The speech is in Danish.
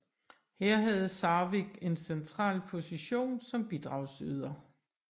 Her havde Sarvig en central position som bidragsyder